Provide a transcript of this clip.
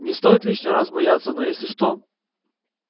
не стоит лишний раз бояться но если что